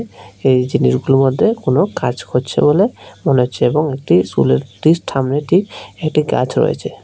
এই জিনিসগুলোর মধ্যে কোন কাজ করছে বলে মনে হচ্ছে এবং একটি স্কুলের ঠিক সামনে একটি গাছ রয়েছে।